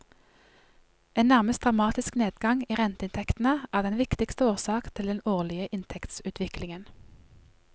En nærmest dramatisk nedgang i renteinntektene er den viktigste årsak til den årlige inntektsutviklingen.